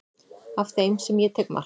af þeim sem ég tek mark á